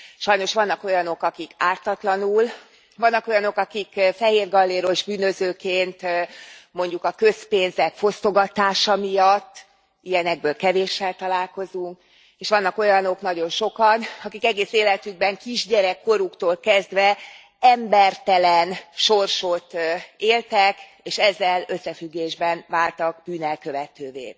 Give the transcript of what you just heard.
Sajnos vannak olyanok, akik ártatlanul, vannak olyanok, akik fehérgalléros bűnözőként mondjuk a közpénzek fosztogatása miatt. Ilyenekből kevéssel találkozunk, és vannak olyanok, nagyon sokan, akik egész életükben, kisgyerek koruktól kezdve embertelen sorsot éltek, és ezzel összefüggésben váltak bűnelkövetővé.